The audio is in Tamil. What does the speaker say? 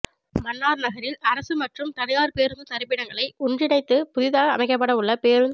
மன்னார் நகரில் அரச மற்றும் தனியார் பேரூந்து தரிப்பிடங்களை ஒன்றிணைத்து புதிதாக அமைக்கப்படவுள்ள பேரூந்